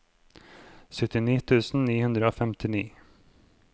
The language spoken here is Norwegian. syttini tusen ni hundre og femtini